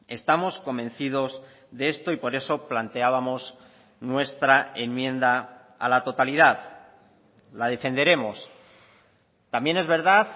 estamos convencidos de esto y por eso planteábamos nuestra enmienda a la totalidad la defenderemos también es verdad